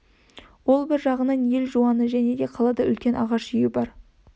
ол бір жағынан ел жуаны және де қалада үлкен ағаш үйі бар